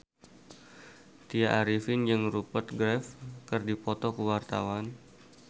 Tya Arifin jeung Rupert Graves keur dipoto ku wartawan